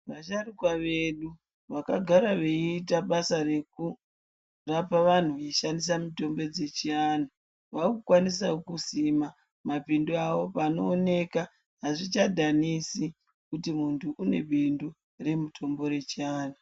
Vasharukwa vedu vakagara veita basa rekurapa vantu veishandisa mitombo dzechivantu vakukwanisawo kusima mapindu awo panooneka azvichadhanisi kuti muntu une bindu remitombo yechivantu.